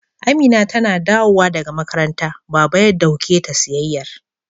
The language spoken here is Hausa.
Amina tana dawowa daga makaranta, Baba ya dauke ta siyayyar.